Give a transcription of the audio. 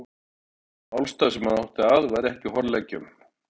Sá málstaður, sem átti hann að, var ekki á horleggjunum.